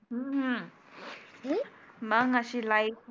हम्म अं मग आशी लाईफ होती.